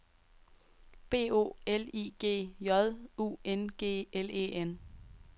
B O L I G J U N G L E N